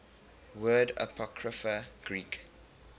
word apocrypha greek